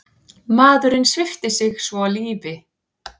Maðurinn svipti sig svo lífi.